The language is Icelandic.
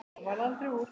Það varð aldrei úr.